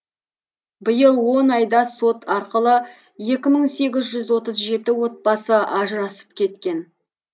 биыл он айда сот арқылы екі мың сегіз жүз отыз жеті отбасы ажырасып кеткен